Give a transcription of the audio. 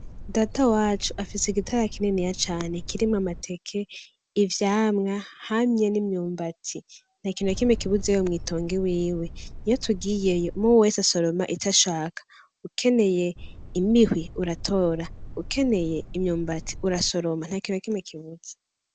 Data wacu afise igitara kininiya cane kirimwo amateke, ivyamwa hamwe n'imyumbati. Ntakintu nakimwe kibuzeyo mw'itongo iwiwe. Iyo tugiyeyo, umwe wese asoroma icashaka. Ukeneye imihwi uratora, ukeneye imyumbati urasoroma. Ntakintu nakimwe kibuze.